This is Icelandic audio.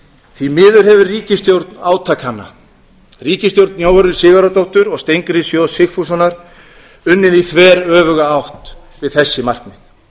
því miður hefur ríkisstjórn átakanna ríkisstjórn jóhönnu sigurðardóttur og steingríms j sigfússonar unnið í þveröfuga átt við þessi markmið